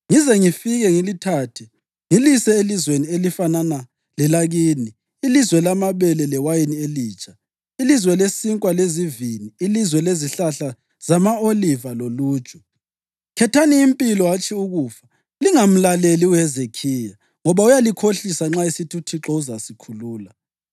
ngize ngifike ngilithathe, ngilise elizweni elifanana lelakini, ilizwe lamabele lewayini elitsha, ilizwe lesinkwa lezivini, ilizwe lezihlahla zama-oliva loluju. Khethani impilo hatshi ukufa, Lingamlaleli uHezekhiya, ngoba uyalikhohlisa nxa esithi, ‘ UThixo uzasikhulula.’